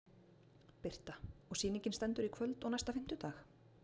Birta: Og sýningin stendur í kvöld og næsta fimmtudag?